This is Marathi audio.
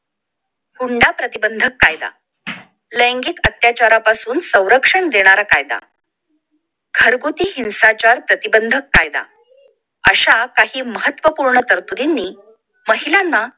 हुंडा प्रतिबंधक कायदा लैगिक अत्याचारापासून संरक्षण देणारा कायदा घरगुती हिंसाचार प्रतिबंधक कायदा अशा काही महत्वपूर्ण तरतूदींनी महिलांना